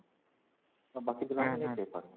ଆଉ ବାକି ପିଲାଙ୍କର